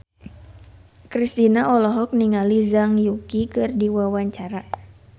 Kristina olohok ningali Zhang Yuqi keur diwawancara